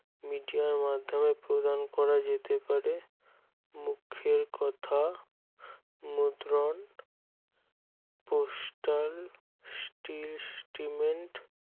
media আর মাধ্যমে প্রদান করা যেতে পারে মুখের কথা মুদ্রণ পোস্টাল স্টিল স্টিমেন্ট